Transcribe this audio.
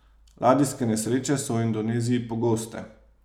Ladijske nesreče so v Indoneziji pogoste.